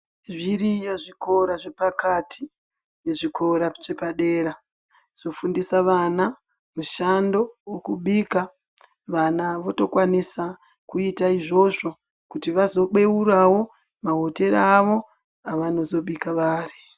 Zviriyo zvikora zvepakati nezvikora zvepadera , zvofundisa vana mushando wekubika vana votokwanisa kuita izvozvo kuti vazobeurawo mahotera avo avanozobika vari.